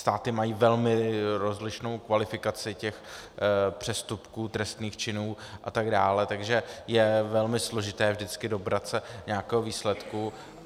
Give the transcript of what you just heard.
Státy mají velmi rozlišnou kvalifikaci těch přestupků, trestných činů a tak dále, takže je velmi složité vždycky dobrat se nějakého výsledku.